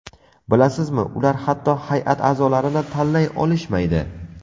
Bilasizmi ular hatto hay’at a’zolarini tanlay olishmaydi.